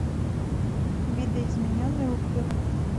видоизмененный углерод